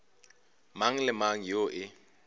mang le mang yoo e